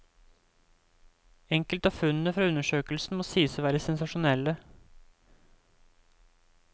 Enkelte av funnene fra undersøkelsen må sies å være sensasjonelle.